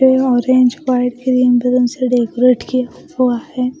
ये orange white green से decorate किया हुआ है।